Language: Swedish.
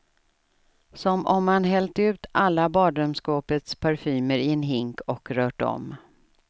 Som om man hällt ut alla badrumsskåpets parfymer i en hink och rört om.